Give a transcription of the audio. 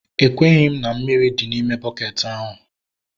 Ekweghị m na mmiri dị n'ime bukeeti ahu